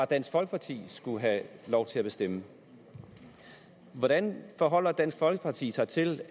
dansk folkeparti skulle have lov til at bestemme hvordan forholder dansk folkeparti sig til